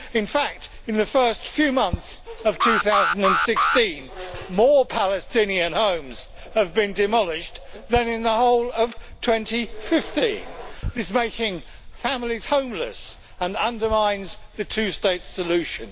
In fact, in the first few months of 2016, more Palestinian homes have been demolished than in the whole of 2015, thus making families homeless and undermining the two state solution.